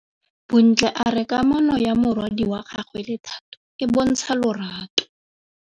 Bontle a re kamanô ya morwadi wa gagwe le Thato e bontsha lerato.